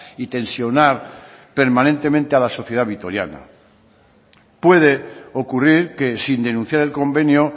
y tensionar permanentemente a la sociedad vitoriana puede ocurrir que sin denunciar el convenio